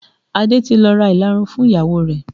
Adé ti lọ ra ìlarun fún ìyàwó rẹ̀